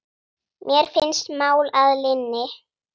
Mér finnst mál að linni.